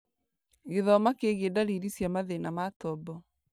Gĩthoma kĩgie ndariri cia mathĩna ma tombo